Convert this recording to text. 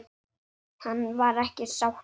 Hann var ekki sáttur.